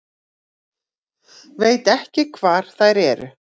Veit ekki hvar þær eru